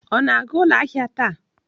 Ọ na-aga ụlọ ahịa taa?